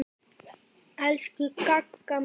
Elsku Gagga mín.